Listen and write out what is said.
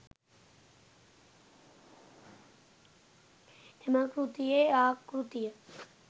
එම කෘතියේ ආකෘතිය